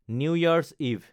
new Year's eve